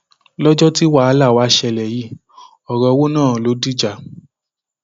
lọjọ tí wàhálà wàá ṣẹlẹ yìí ọrọ owó náà ló dìjà